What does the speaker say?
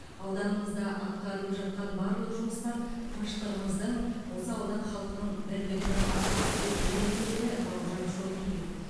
ауданымызда атқарылып жатқан барлық жұмыстар тыныштығымыздың осы аудан халқының бірлігінің арқасы деп білемін деді бауыржан шомпиев